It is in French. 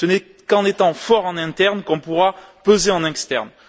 Ce n'est qu'en étant forts en interne qu'on pourra peser en externe.